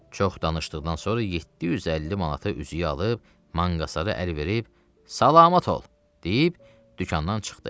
Çox danışdıqdan sonra 750 manata üzüyü alıb manqasara əl verib, salamat ol, deyib dükandan çıxdı.